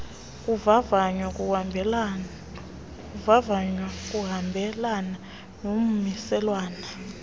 kuvavanywa kuhambelana nommiselwana